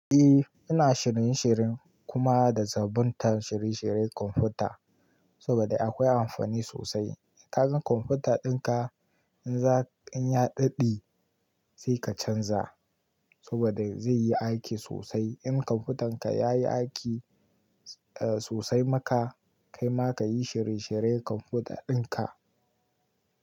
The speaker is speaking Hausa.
Eh, ina shirin shirin kuma da zabatan shirye shiryen computer saboda akwai amfani sosai. Ka gan computer ɗinka in ya dade sai ka canza saboda zai yi aiki sosai. In computern ka ya yi aiki eh sosai maka kaima ka yi shirye shirye computer ɗinka.